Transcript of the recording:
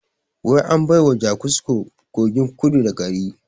Wai an baiwa jakusko kogin kudu da gari